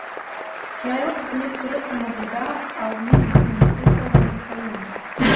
жайлы қызмет түрі тмд да алдымен біздің елде қолданысқа енді